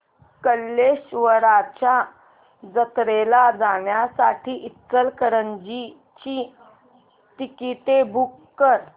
कल्लेश्वराच्या जत्रेला जाण्यासाठी इचलकरंजी ची तिकिटे बुक कर